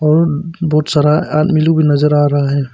और बहुत सारा आदमी लोग नजर आ रहा है।